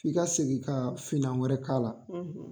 I ka segin ka finna wɛrɛ k'a la.